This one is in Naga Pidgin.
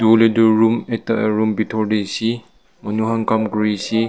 room ekta room bitor tey aseh manu khan kam kuri aseh.